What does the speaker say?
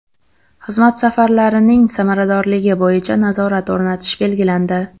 Xizmat safarlarining samaradorligi bo‘yicha nazorat o‘rnatish belgilandi.